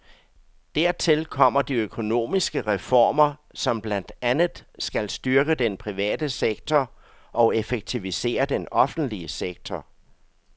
Dertil kommer de økonomiske reformer, som blandt andet skal styrke den private sektor og effektivisere den offentlige sektor.